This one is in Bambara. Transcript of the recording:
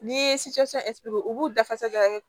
N'i ye u b'u dafasa da kɛ